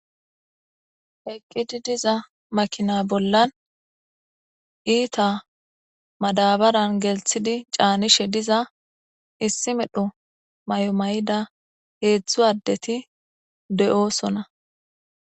eqqidi diza makina bollan iita madabaran gelthidi caanishe diza issi medho may7o may7ida heedzdzu addeti de7oosona